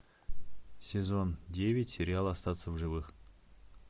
сезон девять сериал остаться в живых